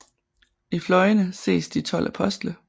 I fløjene ses de 12 apostle